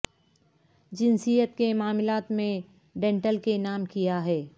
جنسیت کے معاملات میں ڈینیل کے نام کیا ہے